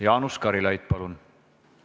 Jaanus Karilaid, palun!